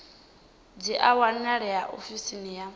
dzi a wanalea ofisini ya